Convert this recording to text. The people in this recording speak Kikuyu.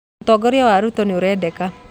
ũtongoria wa Ruto nĩurendeka